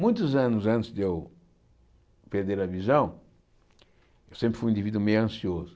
Muitos anos antes de eu perder a visão, eu sempre fui um indivíduo meio ansioso.